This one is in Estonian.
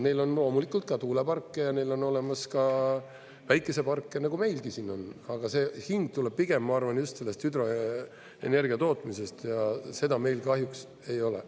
Neil on loomulikult ka tuuleparke ja neil on olemas ka päikeseparke, nagu meilgi siin on, aga see hind tuleb pigem, ma arvan, just sellest hüdroenergia tootmisest, ja seda meil kahjuks ei ole.